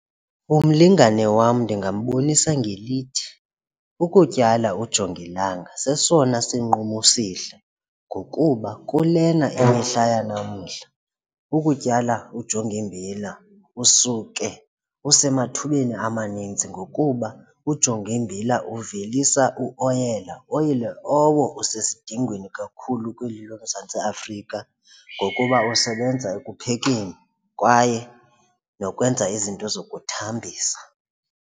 Umlingane wam ndingambonisa ngelithi, ukutyala ujongilanga sesona sinqumo esihle ngokuba kulena emihla yanamhla ukutyala ujongimbila usuke isemathubeni amaninzi ngokuba ujongiimbila uvelisa uoyela, oyela owo usesidingweni kakhulu kweli loMzantsi Afrika ngokuba usebenza ekuphekeni kwaye nokwenza izinto zokuthambisa.